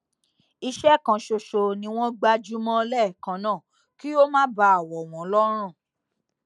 iṣé kan ṣoṣo ni wón gbájú mó léèkan náà kí ó má bàa wọ wọn lọrùn